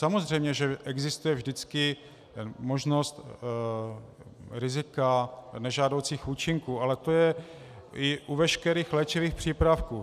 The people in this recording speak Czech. Samozřejmě že existuje vždycky možnost rizika, nežádoucích účinků, ale to je i u veškerých léčivých přípravků.